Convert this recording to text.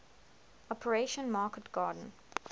operation market garden